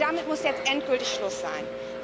Damit muss jetzt endgültig Schluss sein!